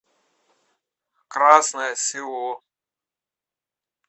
красное село